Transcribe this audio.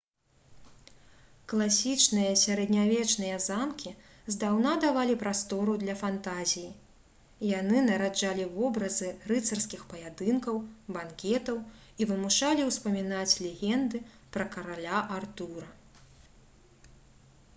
класічныя сярэднявечныя замкі здаўна давалі прастору для фантазіі яны нараджалі вобразы рыцарскіх паядынкаў банкетаў і вымушалі ўспамінаць легенды пра караля артура